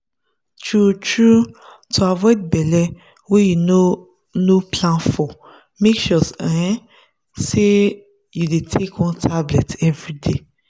true-true to avoid belle wey you no no plan for make sure um say you dey take one tablet everyday.